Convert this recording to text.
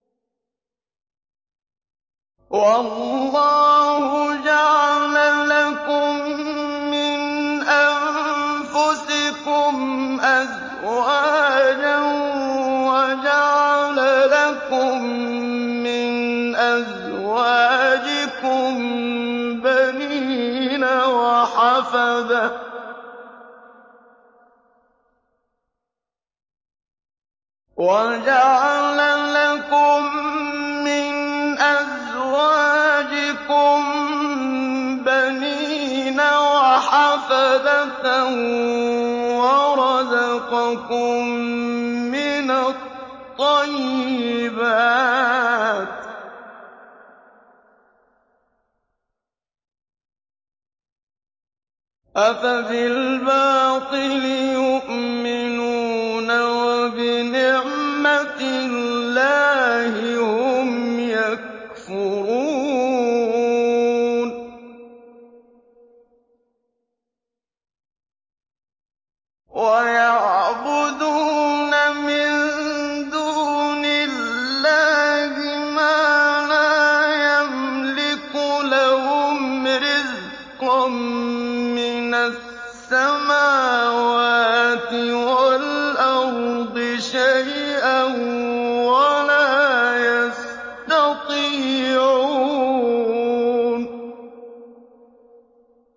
وَيَعْبُدُونَ مِن دُونِ اللَّهِ مَا لَا يَمْلِكُ لَهُمْ رِزْقًا مِّنَ السَّمَاوَاتِ وَالْأَرْضِ شَيْئًا وَلَا يَسْتَطِيعُونَ